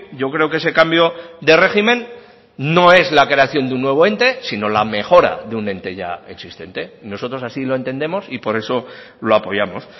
yo creo que ese cambio de régimen no es la creación de un nuevo ente sino la mejora de un ente ya existente nosotros así lo entendemos y por eso lo apoyamos